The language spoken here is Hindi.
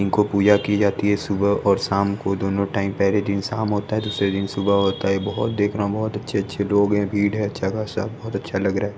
इनको पूजा की जाती है सुबह और शाम को दोनों टाइम पहले दिन शाम होता है दूसरे दिन सुबह होता है बहोत देखना बहोत अच्छे अच्छे लोग हैं भीड़ है अच्छा खासा बहोत अच्छा लग रहा है--